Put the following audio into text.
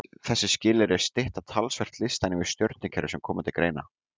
Þessi skilyrði stytta talsvert listann yfir stjörnukerfi sem koma til greina.